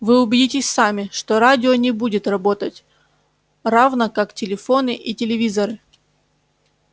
вы убедитесь сами что радио не будет работать равно как телефоны и телевизоры